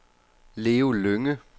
Leo Lynge